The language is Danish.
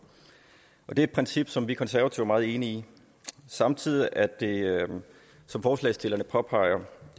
og det er et princip som de konservative er meget enig i samtidig er det sådan som forslagsstillerne påpeger